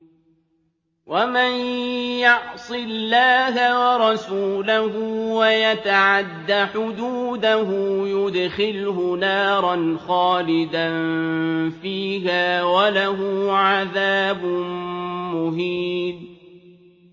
وَمَن يَعْصِ اللَّهَ وَرَسُولَهُ وَيَتَعَدَّ حُدُودَهُ يُدْخِلْهُ نَارًا خَالِدًا فِيهَا وَلَهُ عَذَابٌ مُّهِينٌ